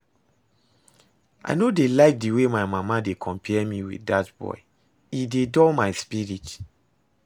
I no dey like the way my mama dey compare me with dat boy, e dey dull my spirit